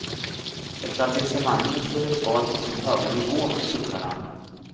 Etablissemanget lever kvar på sin höga nivå, suckar han.